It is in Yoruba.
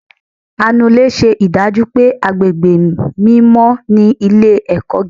anulè ṣe idaju pé agbégbé mímọ ni ilé-ẹkọ gígá.